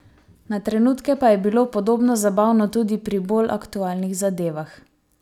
Na trenutke pa je bilo podobno zabavno tudi pri bolj aktualnih zadevah.